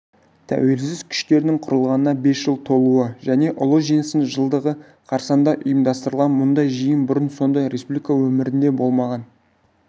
тәуелсіз күштерінің құрылғанына бес жыл толуы және ұлы жеңістің жылдығы қарсаңында ұйымдастырылған мұндай жиын бұрын-соңды республика өмірінде болмаған